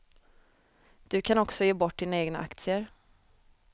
Du kan också ge bort dina egna aktier.